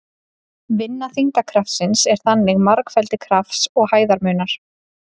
Vinna þyngdarkrafts er þannig margfeldi krafts og hæðarmunar.